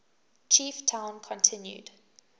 chief town continued